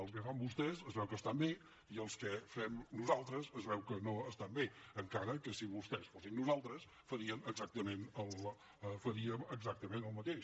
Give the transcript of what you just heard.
els que fan vostès es veu que estan bé i els que fem nosaltres es veu que no estan bé encara que si vostès fossin nosaltres farien exactament el mateix